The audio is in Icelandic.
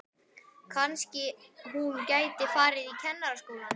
Kannski hún gæti farið í Kennaraskólann.